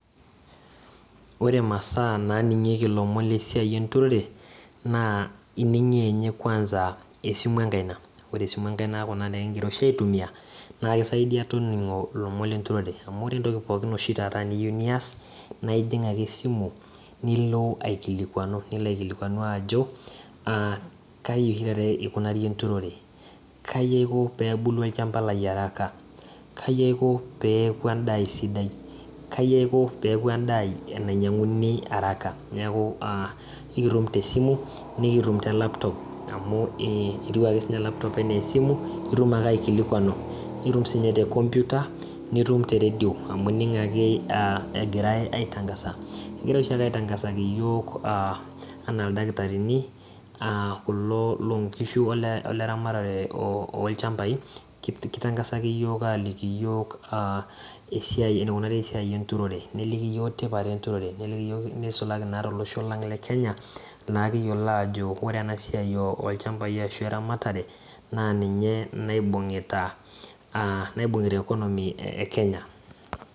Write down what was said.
Ore imasaa naaning'ieki ilomon lenturore naa ining'ie esimu enkaina ore esimu enkaina naa kuna oshi nikinkira aitumiya amu ore teneeta oshi taata eniyieu nias naa ijing ake esimu nilo aikilikuanu ajo kaji osho taata ekunari enturore kaji aiko peelu endaa aai sidiai kai aiko peeku enainyiang'uni araka neeku aa ekitum tesimu nikitum telaptop amu etiu ake sii ninye elaptop enaa esimu neeku itum ake aikilikuanu nitum te computer nitum te radio amu ining ake aa egirai aitangaza egirai oshi aake aitangazaki iyiok aa enaa ildamitarini kulo looonkishu ole ramatare oolchambai keitankasaki iyiok aalikii iyiok aaa esiai eneikunari esiai enturore nelikki iyiok tipat enturore neisulaki naq tolosho lang le kenya naa liki yiolo ajo ore ena siai olchambai weramatare naa ninye naibung'ita economycs ekenya